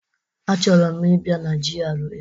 Achọrọ m ibi na GRA.